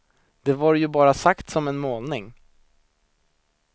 Det var ju bara sagt som en målning.